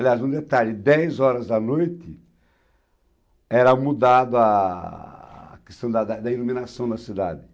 Aliás, um detalhe, dez horas da noite era mudada a... questão da da iluminação da cidade.